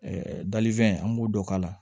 dalifɛn an b'o dɔ k'a la